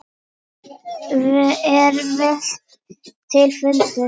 Það er vel til fundið.